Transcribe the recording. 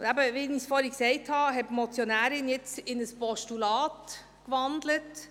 Wie ich erwähnt habe, hat die Motionärin ihren Vorstoss in ein Postulat gewandelt.